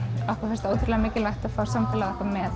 okkur finnst ótrúlega mikilvægt að fá samfélagið með